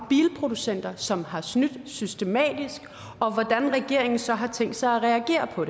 bilproducenter som har snydt systematisk og om hvordan regeringen så har tænkt sig at reagere på